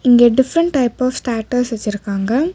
இங்க different type of stutters வச்சிருக்காங்க.